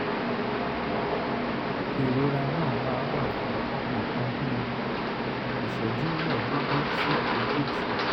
ìrora náà máa ń wà fún nǹkan bí ìṣẹ́jú mẹ́ẹ̀ẹ́dógún sí ogójì